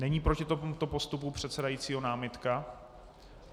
Není proti tomuto postupu předsedajícího námitka?